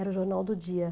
Era o jornal do dia.